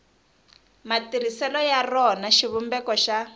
matirhiselo ya rona xivumbeko xa